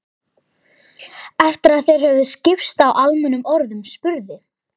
Eftir að þeir höfðu skipst á almennum orðum spurði